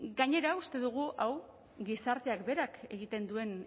gainera uste dugu hau gizarteak berak egiten duen